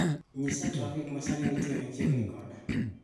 nyisa trafik ma sani nitie machiegni koda